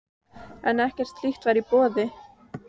En ekkert slíkt var í boði.